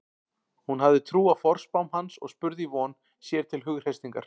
Hún hafði trú á forspám hans og spurði í von, sér til hughreystingar.